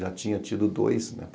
Já tinha tido dois, né?